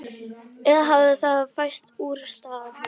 Eða hafði það færst úr stað?